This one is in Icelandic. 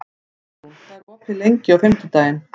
Guðrún, hvað er opið lengi á fimmtudaginn?